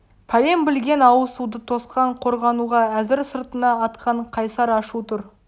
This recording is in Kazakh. пәлен білген алысуды тосқан қорғануға әзір сыртына атқан қайсар ашу тұр